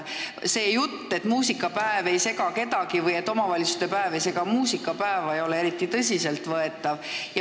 See jutt, et muusikapäev ei sega kedagi või et omavalitsuste päev ei sega muusikapäeva, ei ole eriti tõsiselt võetav.